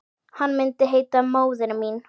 Hann myndi heita Móðir mín.